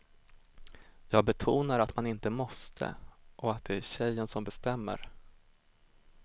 Jag betonar att man inte måste och att det är tjejen som bestämmer.